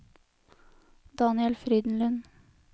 Daniel Frydenlund